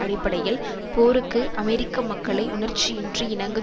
அடிப்படையில் போருக்கு அமெரிக்க மக்களை உணர்ச்சியின்றி இணங்க